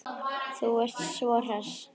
Þú sem ert svo hress!